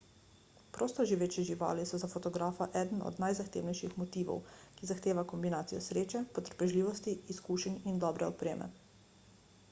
prostoživeče živali so za fotografa eden od najzahtevnejših motivov ki zahteva kombinacijo sreče potrpežljivosti izkušenj in dobre opreme